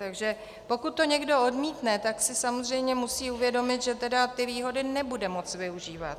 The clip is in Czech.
Takže pokud to někdo odmítne, tak si samozřejmě musí uvědomit, že tedy ty výhody nebude moct využívat.